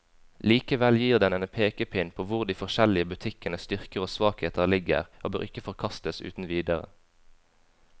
Likevel gir den en pekepinn på hvor de forskjellige butikkenes styrker og svakheter ligger, og bør ikke forkastes uten videre.